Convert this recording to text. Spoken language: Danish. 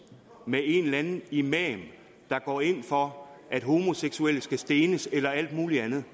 med en eller anden imam der går ind for at homoseksuelle skal stenes eller alt muligt andet